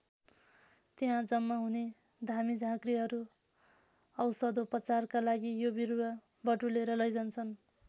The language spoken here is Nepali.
त्यहाँ जम्मा हुने धामीझाँक्रीहरू औषधोपचारका लागि यो बिरुवा बटुलेर लैजान्छन्।